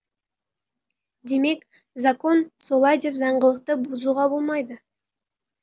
демек закон солай деп заңдылықты бұзуға болмайды